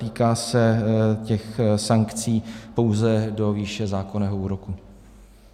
Týká se těch sankcí pouze do výše zákonného úroku.